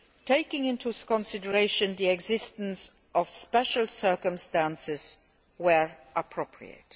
taking into consideration the existence of special circumstances, where appropriate.